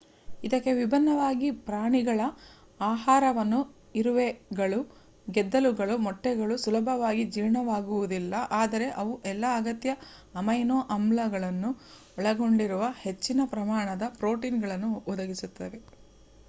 ಇದಕ್ಕೆ ವಿಭಿನ್ನವಾಗಿ ಪ್ರಾಣಿಗಳ ಆಹಾರಗಳು ಇರುವೆಗಳು ಗೆದ್ದಲುಗಳು ಮೊಟ್ಟೆಗಳು ಸುಲಭವಾಗಿ ಜೀರ್ಣವಾಗುವುದಿಲ್ಲ ಆದರೆ ಅವು ಎಲ್ಲಾ ಅಗತ್ಯ ಅಮೈನೋ ಆಮ್ಲಗಳನ್ನು ಒಳಗೊಂಡಿರುವ ಹೆಚ್ಚಿನ ಪ್ರಮಾಣದ ಪ್ರೋಟೀನ್‌ಗಳನ್ನು ಒದಗಿಸುತ್ತವೆ